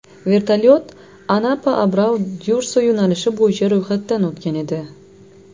Vertolyot AnapaAbrau-Dyurso yo‘nalishi bo‘yicha ro‘yxatdan o‘tgan edi.